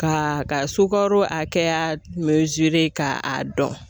Ka ka sukaro hakɛya ka a dɔn.